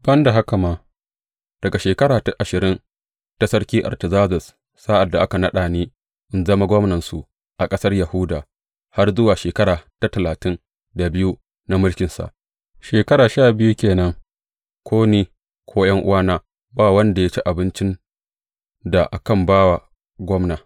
Ban da haka ma, daga shekara ta ashirin ta Sarki Artazerzes, sa’ad da aka naɗa ni in zama gwamnansu a ƙasar Yahuda, har zuwa shekara ta talatin da biyu na mulkinsa, shekara sha biyu ke nan, ko ni, ko ’yan’uwana, ba wanda ya ci abincin da akan ba wa gwamna.